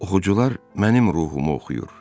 Oxucular mənim ruhumu oxuyur.